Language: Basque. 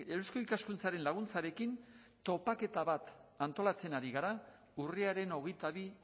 eusko ikaskuntzaren laguntzarekin topaketa bat antolatzen ari gara urriaren hogeita bi